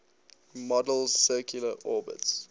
model's circular orbits